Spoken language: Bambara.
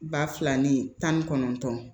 Ba fila ni tan ni kɔnɔntɔn